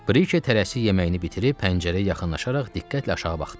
Brike tələsik yeməyini bitirib pəncərəyə yaxınlaşaraq diqqətlə aşağı baxdı.